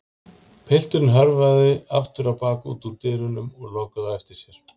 Pilturinn hörfaði aftur á bak út úr dyrunum og lokaði á eftir sér.